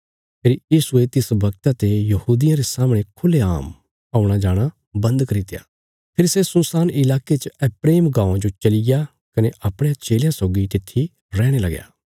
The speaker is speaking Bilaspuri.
फेरी यीशुये तिस बगता ते यहूदियां रे सामणे खुल्लेआम औणा जाणा बन्द करित्या फेरी सै सुनसान इलाके च एप्रैम गाँवां जो चलिग्या कने अपणयां चेलयां सौगी तित्थी रैहणे लगया